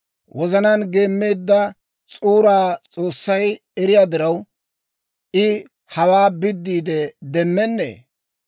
Wozanaan geemmeedda s'uuraa S'oossay eriyaa diraw, I hawaa biddiide demmennee?